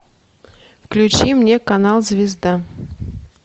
включи мне канал звезда